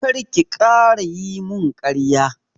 Kar ki ƙara yi mun ƙarya!